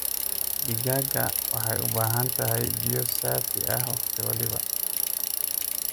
digaaga waxaay ubahantahay biiyo saafi ah waqti walbo.